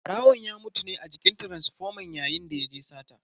Barawon ya mutu ne a jikin taransifoman a yayin da yaje sata.